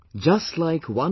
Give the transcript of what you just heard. Just like 1